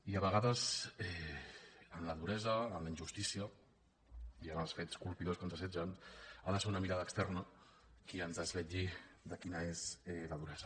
i a vegades en la duresa en la injustícia i en els fets colpidors que ens assetgen ha de ser una mirada externa qui ens desvetlli quina és la duresa